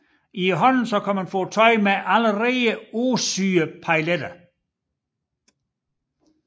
I handlen kan man få tøj med allerede påsyede pailletter